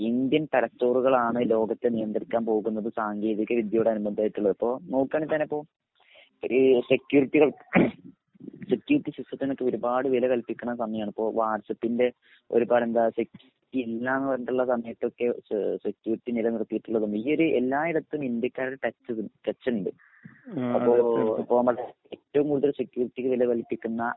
Indian തലച്ചോറുകളാണ് ലോകത്തെ നിയന്ത്രിക്കാൻ പോകുന്നത്. സാങ്കേതിക വിദ്യയോട് അനുബന്ധയിട്ടുള്ളത്. ഇപ്പൊ നോക്കാണെങ്കി തന്നെ ഇപ്പൊ ഈ സെക്യൂരിറ്റികൾ ഏഹ് സെക്യൂരിറ്റി സിസ്റ്റത്തിനൊക്കെ ഒരുപാട് വില കല്പിക്കിണ സമയാണിപ്പോ. ഇപ്പൊ വാട്സാപ്പിന്റെ ഒരു സമയത്തൊക്കെ ഏഹ് സെക്യൂരിറ്റി നിലനിർത്തിയിട്ടുള്ളത്. ഈയൊരു എല്ലായിടത്തും ഇന്ത്യക്കാര് തന്നെ ടച് ഇണ്ട്. ഹം അപ്പൊ ഏറ്റവും കൂടുതല് സെക്യൂരിറ്റിയെ വില കൽപ്പിക്കുന്ന